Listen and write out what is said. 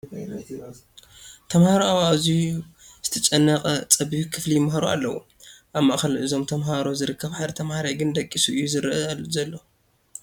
ተመሃሮ ኣብ ኣዝዩ ዝተጨናነቐ ፀቢብ ክፍሊ ይመሃሩ ኣለዉ፡፡ ኣብ ማእኸል እዞም ተመሃሮ ዝርከብ ሓደ ተመሃራይ ግን ደቂሱ እዩ ዝርአ ዘሎ፡፡